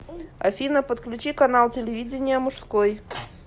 афина подключи канал телевидения мужской